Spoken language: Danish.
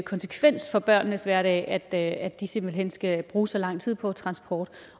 konsekvens for børnenes hverdag at at de simpelt hen skal bruge så lang tid på transport